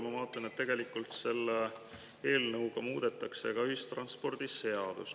Ma vaatan, et tegelikult selle eelnõuga muudetakse ka ühistranspordiseadust.